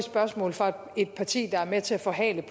tak